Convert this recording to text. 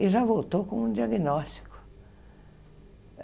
e já voltou com o diagnóstico.